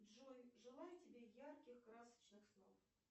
джой желаю тебе ярких красочных снов